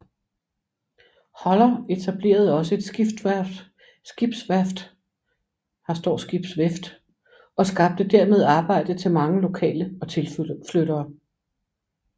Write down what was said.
Holler etablerede også et skibsvæft og skabte dermed arbejde til mange lokale og tilflyttere